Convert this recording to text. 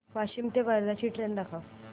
वाशिम ते वर्धा ची ट्रेन दाखव